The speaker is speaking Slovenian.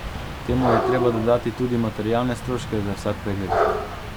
Temu je treba dodati tudi materialne stroške za vsak pregled.